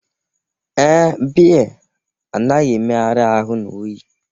Ee, bea anaghi emeghari ahu na oyi.